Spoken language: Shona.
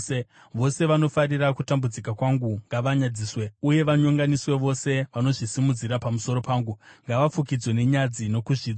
Vose vanofarira kutambudzika kwangu ngavanyadziswe uye vanyonganiswe; vose vanozvisimudzira pamusoro pangu ngavafukidzwe nenyadzi nokuzvidzwa.